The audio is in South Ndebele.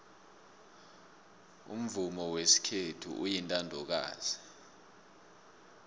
umvumo wesikhethu uyintandokazi